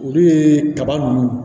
Olu ye kaba ninnu